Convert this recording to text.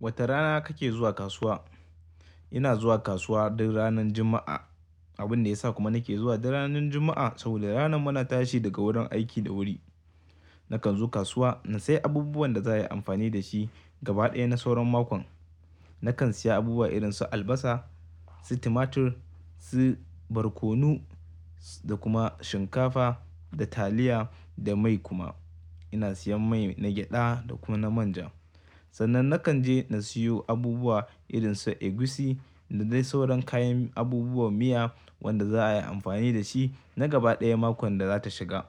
Wata rana kake zuwa kasuwa? Ina zuwa kasuwa duk ranan Juma'a. Abin da ya sa kuma nake zuwa duk ranar Juma'a saboda ranar muna tashi daga wurin aiki da wuri. Nakan zo kasuwa, na sayi abubuwan da za a yi amfani da shi gaba ɗaya na sauran makon. Nakan siya abubuwa irin su albasa, su tumatur, su barkono, da kuma shinkafa da taliya da mai kuma. Ina siyan mai na gyaɗa da kuma na manja. Sannan nakan je na siyo abubuwa irin su egusi, da dai sauran kayan abubuwan miya, wanda za a yi amfani da shi na gaba ɗaya makon da za ta shiga.